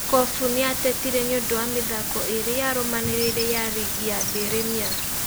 Kofu nĩatetire nĩũndũ wa mĩthako ĩrĩ yarũmanĩrĩire ya rigi ya Birimia.